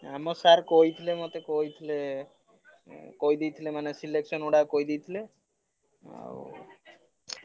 ଆମ sir ମତେ କହିଥିଲେ ମତେ କହିଥିଲେ। କହିଦେଇଥିଲେ ମାନେ selection ଗୁଡା କହିଦେଇଥିଲେ। ଆଉ